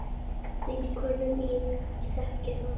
Formúla sem virkar.